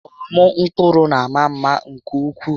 Ọmụ mkpụrụ na àmà mma nke ukwuu.